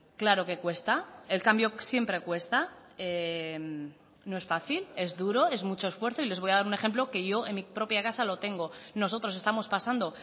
claro que cuesta el cambio siempre cuesta no es fácil es duro es mucho esfuerzo y les voy a dar un ejemplo que yo en mi propia casa lo tengo nosotros estamos pasando